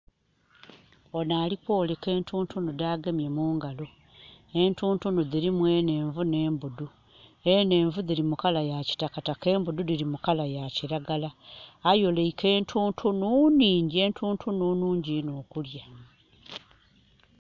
Onho alikwoleka entuntunu dhagemye mangalo. Entuntunu dhirimu enhenvu n'embudhu. Enhenvu dhili mu kala ya kitakataka, embudhu dhili mu kala ya kiragala. Ayoleike entuntunu nhingyi, entuntunu nhungi inho okulya.